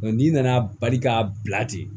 n'i nana bali k'a bila ten